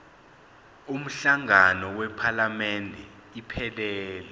umhlangano wephalamende iphelele